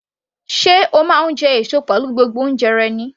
Sé o máa ń jẹ èso pẹ̀lú gbogbo oúnjẹ rẹ ni?